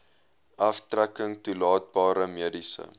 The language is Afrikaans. aftrekking toelaatbare mediese